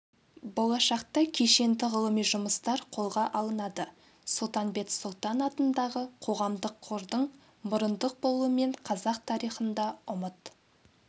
болашақта кешенді ғылыми жұмыстар қолға алынады сұлтанбет сұлтан атындағы қоғамдық қордың мұрындық болуымен қазақ тарихында ұмыт